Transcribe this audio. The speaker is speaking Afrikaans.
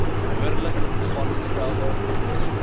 behoorlik aangestelde hoof